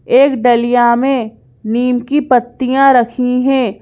एक डलिया में नीम की पत्तियां रखी हैं।